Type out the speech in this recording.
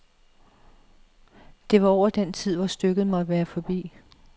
Det var over den tid, hvor stykket måtte være forbi.